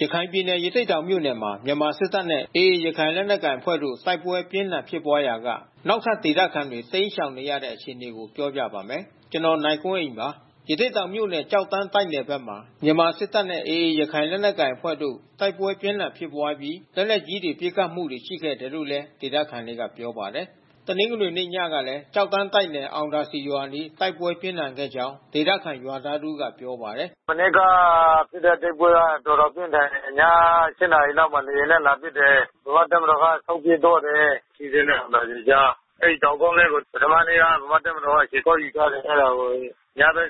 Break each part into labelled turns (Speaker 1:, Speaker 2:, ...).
Speaker 1: ရခိုင်ပြည်နယ် ရသေ့တောင်မြို့နယ်မှာ မြန်မာစစ်တပ်နဲ့ AA ရခိုင်လက်နက်ကိုင်အဖွဲ့တို့ တိုက်ပွဲအပြင်းအထန် ဖြစ်ပွားရာက နောက်ထပ် ဒေသခံတွေ တိမ်းရှောင်နေရတဲ့ အခြေအနေကို ဗွီအိုအေမြန်မာပိုင်းသတင်းထောက် ကိုနိုင်ကွန်းအိန်က ပြောပြပါမယ်။ ရသေ့တောင်မြို့နယ် ကျောက်တန်းတိုက်နယ်ဘက်မှာ မြန်မာစစ်တပ်နဲ့ AA ရခိုင်လက်နက်ကိုင်အဖွဲ့တို့ တိုက်ပွဲအပြင်းအထန်ဖြစ်ပွားပြီး လက်နက်ကြီး ပစ်ခတ်မှုတွေ ရှိခဲ့တယ်လို့လည်း ဒေသခံတွေက ပြောပါတယ်။ တနင်္ဂနွေနေ့ညကလည်း ကျောက်တန်းတိုက်နယ် အောင်သာစည်ရွာအနီး တိုက်ပွဲပြင်းထန်ခဲ့ကြောင်း ဒေသခံရွာသားတဦးကပြောပါတယ်။
Speaker 2: “မနေ့ကဖြစ်တဲ့ တိုက်ပွဲက တော်တော်ပြင်းထန်တယ်။ ည ၈ နာရီလောက်မှာ လေယာဉ် နဲ့ လာပစ်တယ်။ မြန်မာတပ်မတော်က ဆုတ်ပြေးသွားတယ်။ ထီးစွဲနဲ့ အောင်သာစည်ကြား။ အဲဒီတောင်ကုန်းလေးကို ပထမနေ့က ဗမာ့ တပ်မတော်ကခြေကုတ်ယူထားတယ် အဲတာကို AA က ညဘက်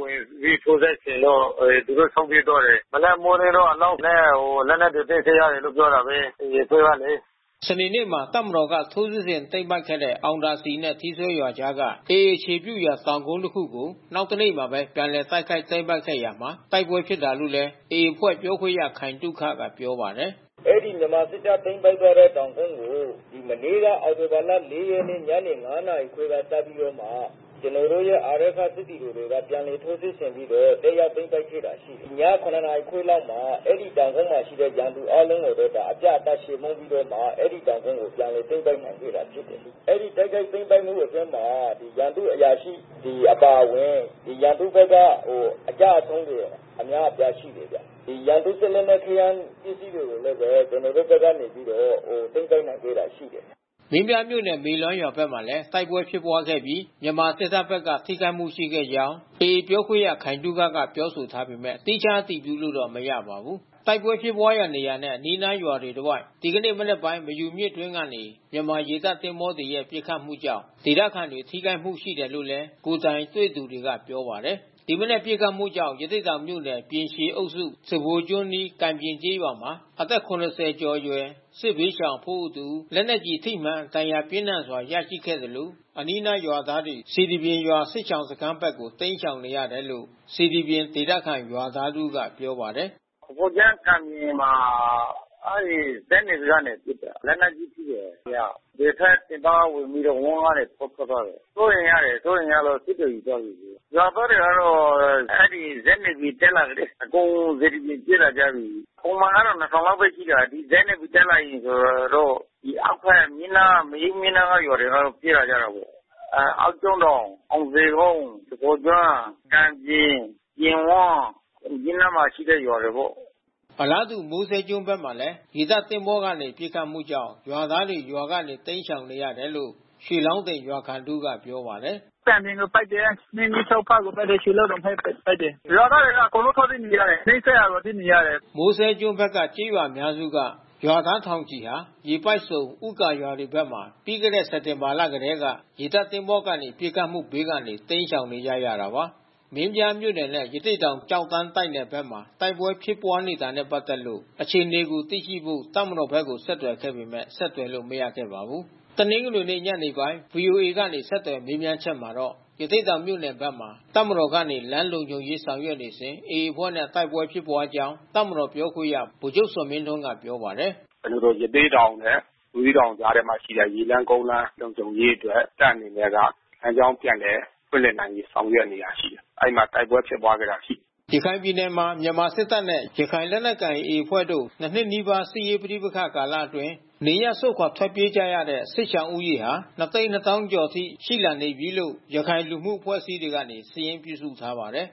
Speaker 2: ဝင်စီးထိုးစစ်ဆင်လို့ သူတို့ ဆုတ်ပြေးသွားတယ်။ မနက်မိုးလင်းတော့ အလောင်းနဲ့ လက်နက်သိမ်းဆီးရတယ်လို့ ပြောတာပဲ AA အဖွဲ့ကလေ။”
Speaker 1: စနေနေ့မှာ တပ်မတော်က ထိုးစစ်ဆင်သိမ်းပိုက်ခဲ့တဲ့ အောင်သာစည်နဲ့ ထီးစွဲကြားက AA အခြေပြုရာတောင်ကုန်း တခုကို နောက်တနေ့မှာပဲ ပြန်လည်တိုက်ခိုက်သိမ်းပိုက်ခဲ့ရာမှာ တိုက်ပွဲဖြစ်ခဲ့တလို့လည်း AA အဖွဲ့ပြောခွင့်ရသူ ခိုင်သုခက ပြောပါတယ်
Speaker 3: ။ “အဲဒီမြန်မာစစ်တပ်ဘက်က သိမ်းပိုက်ခဲ့တဲ့ တောင်ကုန်းကို မနေ့က အောက်တိုဘာလ ၄ ရက်နေ့ ညနေ ၅ နာရီခွဲက စပြီးတော့မှ ကျနော်တို့ရဲ့ အာရက္ခစစ်သည်တွေက ပြန်လည်ထိုးစစ်ဆင်ပြီးတော့ လက်ရသိမ်းပိုက်ခဲ့တာ ရှိတယ်။ ည ၇ နာရီခွဲလောက်မှာ အဲဒီတောင်ကုန်းမှာရှိတဲ့ ရန်သူအားလုံးကိုလည်း အပြတ်အသတ်ချေမှုန်းပြီးတော့မှ အဲဒီတောင် ကုန်း ကိုပြန်လည်သိမ်းပိုက်နိုင်ခဲ့တာ ဖြစ်တယ်။ အဲဒီတိုက်ခိုက်သိမ်းပိုက်မှုအတွင်းမှာ ရန်သူအရာရှိစစ်သည်တွေ အပါအဝင် ရန်သူဘက်က အကျဆုံးတွေ အများအပြား ရှိတယ်ဗျ။ ရန်သူစစ်လက်နက်ခဲယမ်း ပစ္စည်းတွေလည်း ကျနော်တို့ဘက်က နေပြီးတော့ သိမ်းပိုက်နိုင်ခဲ့တာရှိတယ်။”
Speaker 1: မင်းပြားမြို့နယ် မေလွမ်းရွာဘက်မှာလည်း တိုက်ပွဲဖြစ်ပွားခဲ့ပြီး မြန်မာစစ်တပ်ဘက်က ထိခိုက်မှု ရှိခဲ့ကြောင်း AA ပြောခွင့်ရ ခိုင်သုခက ပြောဆိုထားပေမဲ့ သီးခြားအတည်ပြုလို့တော့ မရပါဘူး။ တိုက်ပွဲဖြစ်ရာနေရာနဲ့ အနီးအနားရွာတွေ တဝိုက် ဒီနေ့မနက်ပိုင်း မယူမြစ်အတွင်းကနေ မြန်မာရေတပ်သင်္ဘောတွေရဲ့ ပစ်ခတ်မှုကြောင့် ဒေသခံတွေ ထိခိုက်မှုတွေ ရှိခဲ့တယ်လို့လည်း ကိုယ်တိုင်တွေ့သူတွေက ပြောပါတယ်။ ဒီမနက်ပစ်ခတ်မှုကြောင့် ရသေ့တောင်မြို့နယ်၊ ပြင်ရှည်အုပ်စု၊ စဖိုကျွန်းအနီးကံပြင်ကျေးရွာမှာ အသက် ၇ဝ ကျော် အရွယ် စစ်ဘေးရှောင်အဖိုးအိုတစ်ဦး လက်နက်ကျည်ထိမှန်ဒဏ်ရာပြင်းထန်စွာ ရရှိသွားခဲ့သလို အနီးနားရွာသား တွေ စေတီပြင်ရွာစစ်ရှောင်စခန်းဘက်ကို တိမ်းရှောင်နေရတယ်လို့ စေတီပြင်ဒေသခံရွာသားတဦးကပြောပါတယ်။ “စဖိုကျွန်းက
Speaker 2: ံပြင်မှာ အဲဒီဇက်NAVY ကပစ်တာ။ လက်နက်ကြီး ထိတယ်တယောက်။ ဘယ်ဖက်တက်ပါးက ဝင်ပြီးတော့ ဝမ်းကနေထွက်သွားတယ်။ စိုးရိမ်ရတယ်။ စိုးရိမ်ရလို့စစ်တွေကိုယူသွားပြီး။ ရွာသားတွေကတော့ အဲဒီဇက်NAVY တက် လာရင် အကုန်စေတီပြင်ကိုပြေးလာကြတယ်။ ပုံမှန်က ၂,၀၀၀ လောက်ပဲ ရှိတယ်။ ဇက်NAVY တက်လာပြီဆိုရင်တော့ အောက်ဘက်အနီးနား မေယုမြစ်နားကရွာတွေအားလုံး ပြေးလာကြတယ်ပေါ့။ အောက်ကျွန်းစောင် အောင်ဇေကုန်း စဖိုကျွန်း ကန်ပြင် ပြင်ဝန်း မြစ်နားမှာရှိတဲ့ရွာတွေပေါ့။”
Speaker 1: အလားတူမိုးစဲကျွန်းဘက်မှာလည်း ရေတပ်သင်္ဘောကနေ ပစ်ခတ်မှုကြောင့် ရွာသားတွေရွာကနေ တိမ်းရှောင်နေရတယ်လို့ ရွှေလောင်းတင်ရွာခံတဦးက ပြောပါတယ်။
Speaker 2: “ကံပြင်ကို ပစ်တယ်။ မြင်းဂန်ချောင်းဘက်ကို ပစ်တယ်၊ ရွှေလောင်းတင်ဘက်ကို ပစ်တယ်။ ရွာသား
Speaker 1: တွေက အကုန်လုံး ထွက်ပြေးနေရတယ်။ နီးစပ်ရာကိုပြေးနေရတယ်။” မိုးစဲကျွန်းဘက်က ကျေးရွာအများစုက ရွာသားထောင်ချီဟာ ရေပိုက်ဆုံ ဦးဂါရွာတွေဘက်မှာ ပြီးခဲ့တဲ့ စက်တင်ဘာလကတည်းက ရေတပ်သင်္ဘောကနေ ပစ်ခတ်မှုဘေးကနေ တိမ်းရှောင်နေကြတာပါ။ မင်းပြားမြို့နယ်နဲ့ ရသေ့တောင်ကျောက်တန်းတိုက်နယ်ဘက်မှာ တိုက်ပွဲဖြစ်ပွါးနေတာနဲ့ပက်သက်လို့ အခြေအနေ သိရှိဖို့ တပ်မတော်ဘက်ကို ဆက်သွယ်ခဲ့ပေမဲ့ ဆက်သွယ်လို့မရခဲ့ပါဘူး။ တနင်္ဂနွေနေ့ညနေပိုင်း ဗွီအိုအေကနေ ဆက်သွယ်မေးမြန်းချက်မှာတော့ ရသေ့တောင်မြို့နယ်ဘက်မှာ တပ်မတော်ကနေ လမ်းလုံခြုံရေးဆောင်ရွက်နေစဉ် AA အဖွဲ့နဲ့ တိုက်ပွဲဖြစ်ပွါးခဲ့ကြောင်း တပ်မတော်ပြောခွင့်ရ ဗိုလ်ချုပ်ဇော်မင်းထွန်း ကပြောပါတယ်။
Speaker 2: “ကျနော်တို့ ရသေ့တောင်နဲ့ ဘူးသီးတောင်ကြားထဲမှာ ရှိတဲ့ ရေလမ်းကုန်းလမ်း လုံခြုံရေးအတွက်တပ်အနေနဲ့က လမ်းကြောင်း ပြန်လည်ဖွင့်လှစ်နိုင်ရေး ဆောင်ရွက်နေတာ ရှိတယ်။ အဲဒီမှာ တိုက်ပွဲဖြစ်ပွါးခဲ့တာရှိတယ်
Speaker 1: ။ ရခိုင်ပြည်နယ်မှာ မြန်မာစစ်တပ်နဲ့ ရခိုင်လက်တနက်ကိုင် AA အဖွဲ့တို့ ၂ နှစ်နီးပါး စစ်ရေးပဋိပက္ခကာလအတွင်း တနေရပ်စွန့်ခွာထွက်ပြေးနေကြရတဲ့ စစ်ဘေးရှောင် ဦးရေမှာ ၂၂၀,၀၀၀ ကျော်အထိ ရှိလာပြီလို့ ရခိုင်လူမှု အဖွဲ့အစည်းတွေက စာရင်းပြုစုထားပါတယ်